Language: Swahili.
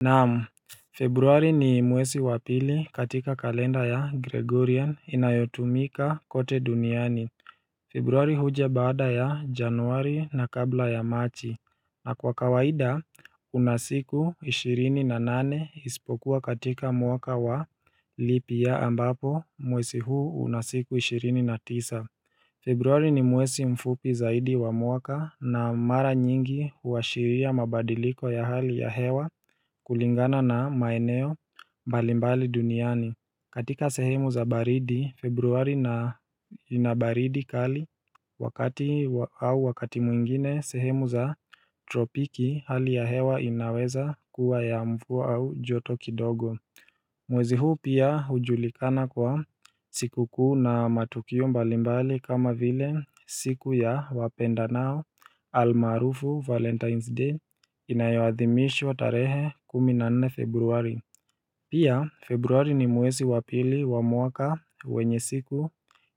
Naam Februari ni mwezi wa pili katika kalenda ya Gregorian inayotumika kote duniani Februari huja baada ya Januari na kabla ya Machi na kwa kawaida una siku ishirini na nane isipokuwa katika mwaka wa leap year ambapo mwezi huu una siku ishirini na tisa Februari ni mwezi mfupi zaidi wa mwaka na mara nyingi huashiria mabadiliko ya hali ya hewa kulingana na maeneo mbalimbali duniani. Katika sehemu za baridi, Februari na ina baridi kali wakati au wakati mwingine sehemu za tropiki hali ya hewa inaweza kuwa ya mvua au joto kidogo mwezi huu pia hujulikana kwa sikukuu na matukio mbalimbali kama vile siku ya wapendanao almaarufu Valentine's Day inayoadhimishwa tarehe kumi na nne Februari Pia Februari ni mwezi wa pili wa mwaka wenye siku